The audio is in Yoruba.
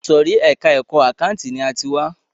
Ìsòrí ẹka ẹ̀kọ́ àkáǹtì ni a ti wá.